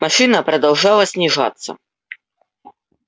машина продолжала снижаться